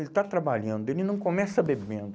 Ele está trabalhando, ele não começa bebendo.